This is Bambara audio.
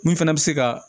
Mun fana bɛ se ka